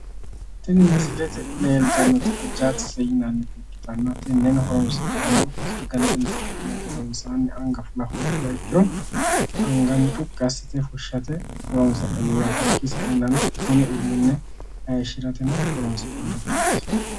Tini misilete leeltannoti ajaakse yinannita ikkitanna tenneno horoonsi'nannihu sagale inte ka'nihu gedensaanni anga fula hoogguha ikkiro anga mucuqqi assite fushshate horoonsi'nanni yaate. Hakkii saeennano mini uduunne hayishshirateno horoonsi'nannirichooti.